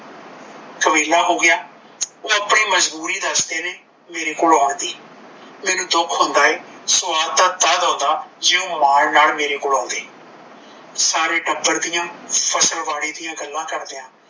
ਕੁਵੇਲਾ ਹੋ ਗਿਆ। ਓਹ ਆਪਣੀ ਮਜਬੂਰੀ ਦੱਸਦੇ ਨੇ ਮੇਰੇ ਕੋਣ ਆਉਣ ਦੀ ਮੈਂਨੂੰ ਦੁੱਖ ਹੁੰਦਾ ਏ ਸਵਾਦ ਤਾਂ ਤਦ ਹੁੰਦਾ ਜੇ ਓਹ ਮਾਨ ਨਾਲ ਮੇਰੇ ਕੋਲ ਆਉਂਦੇ ਸਾਰੇ ਟੱਬਰ ਦੀਆ ਫਸਲ ਬਾੜੀ ਦਿਆ ਗੱਲ ਕਰਦੇ ਆ